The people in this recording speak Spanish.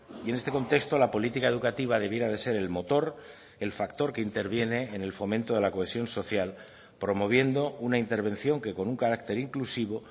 y en este contexto la política educativa debiera de ser el motor el factor que interviene en el fomento de la cohesión social promoviendo una intervención que con un carácter inclusivo